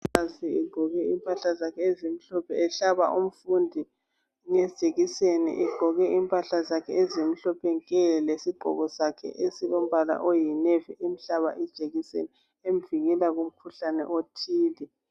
Umongikazi egqoke impahla zakhe ezimhlophe ehlaba umfundi nge jekiseni egqoke impahla zakhe ezimhlophe nke lesigqoko sakhe ezilombala oyinevi emhlaba ijekiseni emvikela kumkhuhlane othile